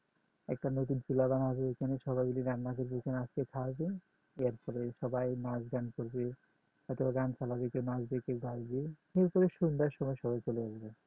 একটা নতুন চুলা বানাবে এখানে সবাই মাইল রান্না করবে এইখানে সবাই নাচ গান করবে হয়তোবা গান চালাবে কেও নাচবে কেও গাইবে কিন্তু ওই সন্ধ্যার সময় সবাই চলে যাবে